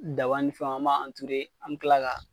Daban ni fɛnw an b'a an bi tila ka